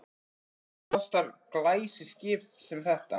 En hvað kostar glæsiskip sem þetta?